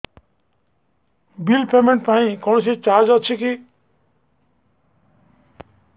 bill payment ପାଇଁ କୌଣସି charge ଅଛି କି